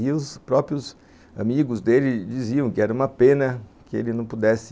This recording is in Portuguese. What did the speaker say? E os próprios amigos dele diziam que era uma pena que ele não pudesse